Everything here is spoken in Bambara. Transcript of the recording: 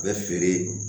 U bɛ feere